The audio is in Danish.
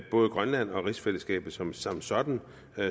både grønland og rigsfællesskabet som sådan sådan